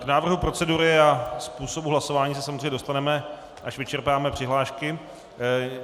K návrhu procedury a způsobu hlasování se samozřejmě dostaneme, až vyčerpáme přihlášky.